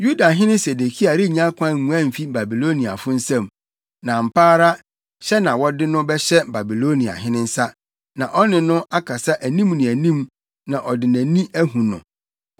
Yudahene Sedekia rennya kwan nguan mfi Babiloniafo nsam, na ampa ara hyɛ na wɔde no bɛhyɛ Babiloniahene nsa, na ɔne no akasa anim ne anim na ɔde nʼani ahu no.